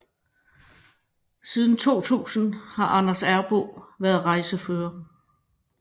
Siden 2000 har Anders Errboe været rejsefører